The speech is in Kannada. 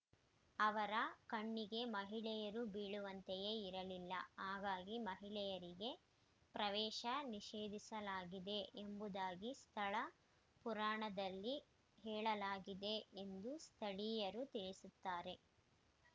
ಅವರ ಕಣ್ಣಿಗೆ ಮಹಿಳೆಯರು ಬೀಳುವಂತೆಯೇ ಇರಲಿಲ್ಲ ಹಾಗಾಗಿ ಮಹಿಳೆಯರಿಗೆ ಪ್ರವೇಶ ನಿಷೇಧಿಸಲಾಗಿದೆ ಎಂಬುದಾಗಿ ಸ್ಥಳ ಪುರಾಣದಲ್ಲಿ ಹೇಳಲಾಗಿದೆ ಎಂದು ಸ್ಥಳೀಯರು ತಿಳಿಸುತ್ತಾರೆ